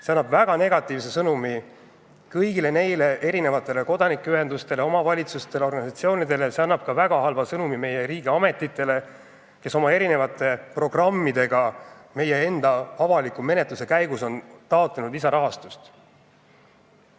See saadab väga negatiivse sõnumi kõigile kodanikuühendustele, omavalitsustele, organisatsioonidele, see saadab väga halva sõnumi ka meie riigiametitele, kes on oma programmide alusel meie enda avaliku menetluse käigus taotlenud lisarahastust.